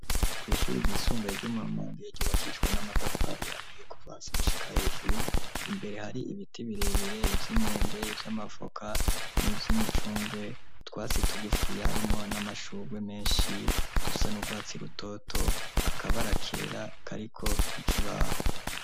Kw'ishuri gisumbe ryo mu kivunga mu mwaka wa kabiri ryobase n'amatafari ariye kuvahasi gushika hejuru abanyeshuri bagiye mw'ishuri hari intebe zitonze ku murongo kuva imbere gushika inyuma y'ibaho gisize iranga igirabura canditseko.